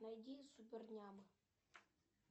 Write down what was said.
найди супер няма